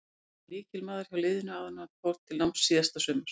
Hann var lykilmaður hjá liðinu áður en hann fór til náms síðasta sumar.